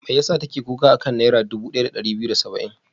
Me ya sa take kuka a kan Naira dubu ɗaya da ɗari biyu da saba'in?